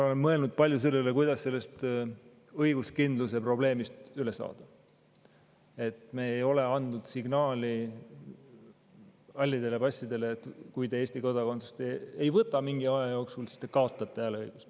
Ma olen mõelnud palju selle üle, kuidas üle saada sellest õiguskindlust probleemist, et me ei ole halli passi omanikele andnud signaali: kui te Eesti kodakondsust mingi aja jooksul ei võta, siis te kaotate hääleõiguse.